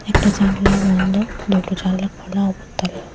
একটা জানলা বন্ধ দুটো জানলা খোলা অব--